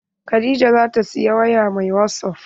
Khadijah zata siyi waya mai wasup.